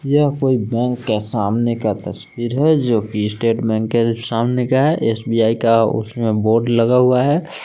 यह कोई बैंक के सामने का तस्वीर है जो की स्टेट बैंक के सामने का है एस_बी_आई का उसमें बोर्ड लगा हुआ है।